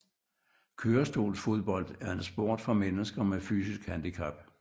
Kørestolsfodbold er en sport for mennesker med fysisk handicap